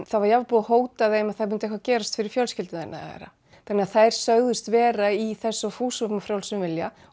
það var jafnvel búið að hóta þeim að það myndi eitthvað gerast fyrir fjölskylduna þeirra þannig að þær sögðust vera í þessu af fúsum og frjálsum vilja